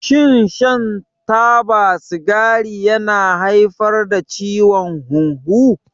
Shin shan taba sigari yana haifar da ciwon hunhu?